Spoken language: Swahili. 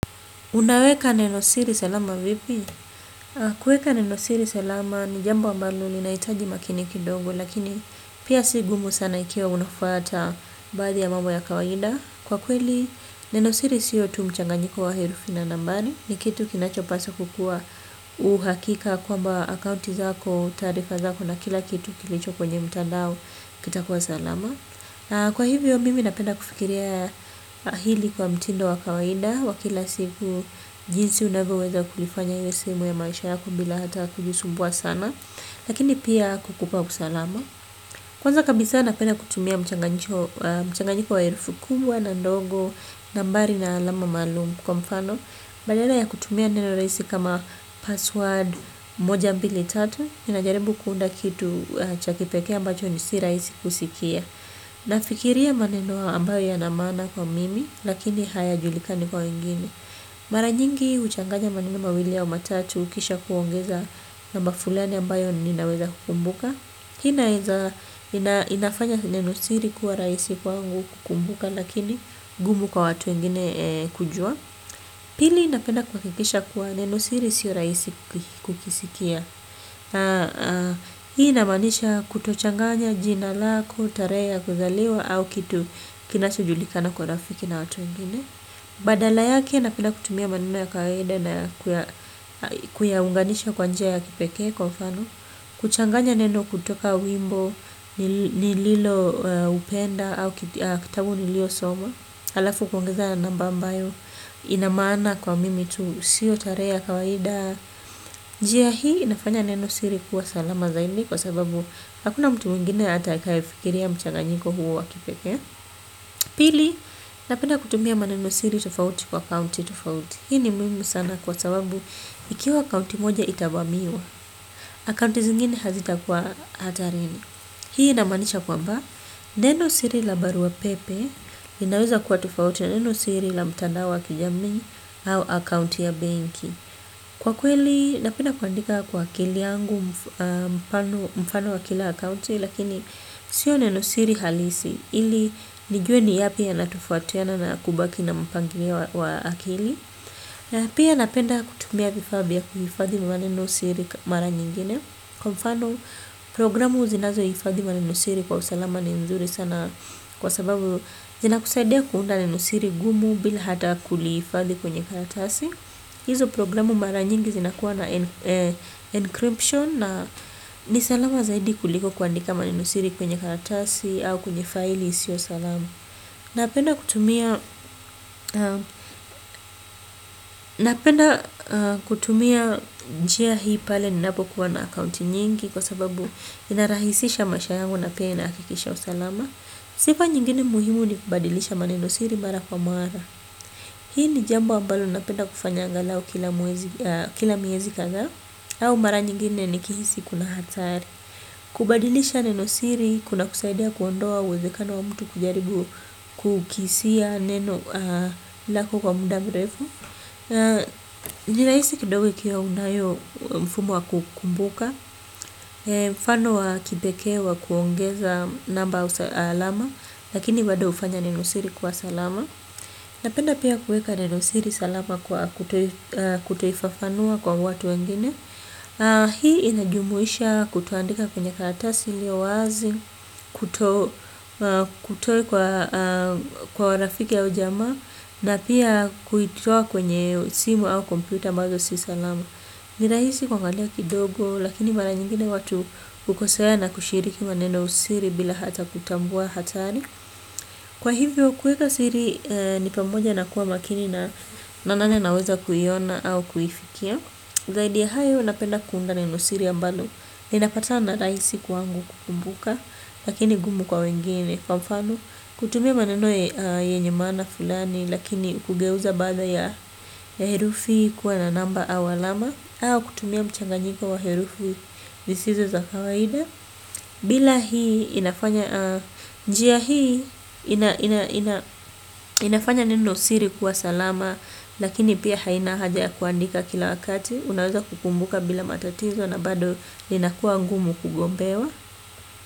Unaweka neno siri salama vipi? Kuweka neno siri salama ni jambo ambalo li nahitaji makini kidogo lakini pia sigumu sana ikiwa unafuata baadhi ya mambo ya kawaida. Kwa kweli neno siri siyo tu mchanganyiko wa herufina nambari ni kitu kinacho paswa kukua uhakika kwa mba akaunti zako, taarifa zako na kila kitu kilicho kwenye mtandao kitakuwa salama. Na kwa hivyo mimi napenda kufikiria hili kwa mtindo wakawaida. Wakila siku jinsi unavyoweza kulifanya liwe sehemu ya maisha yako bila hata kujisumbua sana. Lakini pia kukupa usalama. Kwanza kabisa napenda kutumia mchanganyiko wa herufi kubwa na ndogo. Nambari na alama maalumu kwa mfano. Badala ya kutumia neno rahisi kama password moja mbili tatu ninajaribu kuunda kitu chakipekee ambacho nisi rahisi kusikia. Na fikiria maneno ambayo yanamaana kwa mimi lakini haya julikani kwa wengine. Maranyingi huchanganya maneno mawili a umatatu ukisha kuongeza na mbafulani ambayo ninaweza kukumbuka. Hii inafanya neno siri kuwa rahisi kwangu kukumbuka lakini ngumu kwa watu wengine kujua. Pili napenda kuha kikisha kuwa neno siri sio rahisi kukisikia. Hii inamaanisha kutochanganya jina lako, tarehe ya kuzaliwa au kitu kinachojulikana kwa rafiki na watuwengine. Badala yake na penda kutumia maneno ya kawaida na kuyaunganisha kwa njia ya kipekee kwa mfano. Kuchanganya neno kutoka wimbo, nililo upenda au kitabu niliyo soma. Alafu kuongeza na nambaambayo inamaana kwa mimi tu siyo tarehe ya kawaida njia hii inafanya neno siri kuwa salama zaidi kwa sababu hakuna mtu mwingine ata kaye fikiria mchanga nyiko huo wakipekee pili napenda kutumia maneno siri tofauti kwa kaunti tofauti hii ni muhimu sana kwa sababu ikiwa akaunti moja itavamiwa akaunti zingine hazita kuwa hatari ni. Hii inamaanisha kwa mba neno siri la barua pepe linaweza kuwa tofautina neno siri la mtandao wa kijamii au akaunti ya banki. Kwa kweli napenda kuandika kwa akili yangu mfano wa kila akaunti lakini sio neno siri halisi ili nijue ni yapi ya natofautiana na kubaki na mpangilio wa akili. Na pia napenda kutumia kifavaavya kuhifadhi maneno siri mara nyingine. Kwa mfano programu zinazo hifadhi maneno siri kwa usalama ni nzuri sana kwa sababu zina kusaidia kuunda neno siri gumu bila hata kulihifadhi kwenye karatasi. Hizo programu mara nyingi zinakuwa na encryption na nisalama zaidi kuliko kuandika manenosiri kwenye karatasi au kwenye faili isiyo salama. Napenda kutumia njia hii pale ninapo kuwa na akaunti nyingi kwa sababu inarahisisha maishayangu na pia inahakikisha usalama. Sifa nyingine muhimu ni kubadilisha manenosiri mara kwa mara. Hii ni jambo ambalo napenda kufanya angalao kila miezi kadhaa. Au mara nyingine ni kihisi kuna hatari. Kubadilisha neno siri, kuna kusaidia kuondoa uwezekano wa mtu kujaribu kukisia neno lako kwa mudamrefu nirahisi kidogo ikiwa unayo mfumo wa kukumbuka mfano wa kipekeewa kuongeza nambaau alama. Lakini bado hufanya neno siri kuwa salama. Napenda pia kuweka neno siri salama kwa kutoifafanua kwa watu wengine. Hii inajumuisha kutoandika kwenye karatasi ili yo wazi, kutoa kwa rafiki a ujamaa, na pia kuitoa kwenye simu au kompyuta ambazo si salama. Nirahisi kua ngalia kidogo, lakini mara nyingine watu hukosea na kushiriki maneno siri bila hata kutambua hatari. Kwa hivyo kuweka siri ni pamoja na kuwa makini na nani anaweza kuiona au kuifikia. Zaidiya hayo napenda kuunda neno siri ambalo ninapata na rahisi kwangu kukumbuka. Lakini gumu kwa wengine kwa mfano. Kutumia maneno ye nyemaana fulani. Lakini kugeuza baadhi ya herufi kuwa na namba aualama. Au kutumia mchanganyiko wa herufi zisizo za kawaida. Bila hii inafanya njia hii inafanya neno siri kuwa salama. Lakini pia haina hajaya kuandika kila wakati. Unaweza kukumbuka bila matatizo na bado linakuwa ngumu kugombewa.